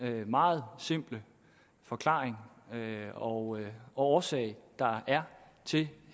meget simple forklaring og årsag der er til